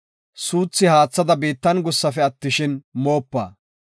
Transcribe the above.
Suuthi haathada biittan gussafe attishin, moopa.